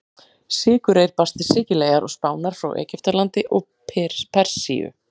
Sykurreyr barst til Sikileyjar og Spánar frá Egyptalandi og Persíu.